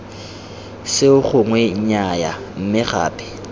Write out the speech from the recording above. seo gongwe nnyaya mme gape